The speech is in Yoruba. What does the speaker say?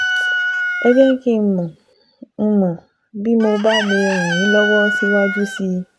Ẹ jẹ́ kí n mọ̀ n mọ̀ bí mo bá lè ràn yín lọ́wọ́ síwájú sí i